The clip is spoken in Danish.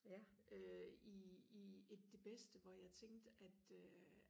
øh i i et det bedste hvor jeg tænkte at øh